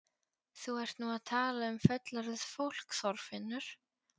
Þú ert nú að tala um fullorðið fólk, Þorfinnur!